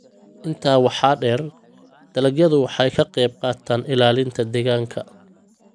Intaa waxaa dheer, dalagyadu waxay ka qayb qaataan ilaalinta deegaanka.